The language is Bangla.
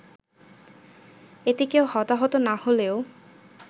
এতে কেউ হতাহত না হলেও